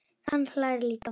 Hann hlær líka.